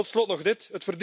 Tot slot nog dit.